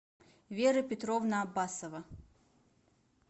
вера петровна абасова